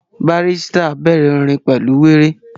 Barrister bẹ̀rẹ̀ orin pẹ̀lú wéré